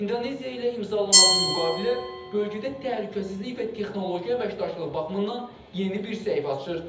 İndoneziya ilə imzalanan bu müqavilə bölgədə təhlükəsizlik və texnologiya əməkdaşlığı baxımından yeni bir səhifə açır.